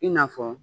I n'a fɔ